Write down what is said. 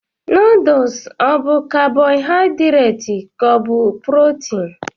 Noodles obụ carbohydrates ka ọ bụ protein?